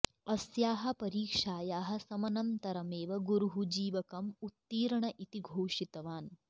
अस्याः परीक्षायाः समनन्तरमेव गुरुः जीवकम् उत्तीर्ण इति घोषितवान्